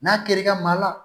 N'a kɛr'i ka maa la